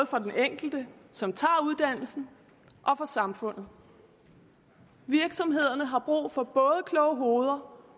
for den enkelte som tager uddannelsen og for samfundet virksomhederne har brug for både kloge hoveder